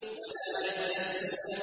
وَلَا يَسْتَثْنُونَ